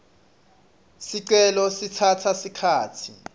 ticelo titsatsa sikhatsi